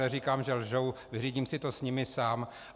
Neříkám, že lžou, vyřídím si to s nimi sám.